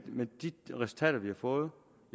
med de resultater vi har fået